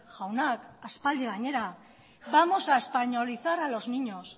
jaunak aspaldi gainera vamos a españolizar a los niños